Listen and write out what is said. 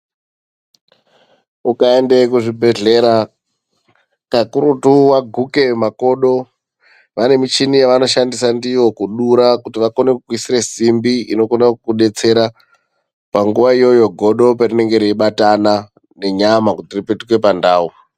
Ukayende kuzvibhedhlera, kakurutu waguke makodo, vanemushini yavanoshandisa ndiyo kudura kuti vakone kukuyisira simbi inokona kukudetsera. Panguwa yoyo godo, ndoparinenge reyibatana nenyama kuti ripetuke pandau.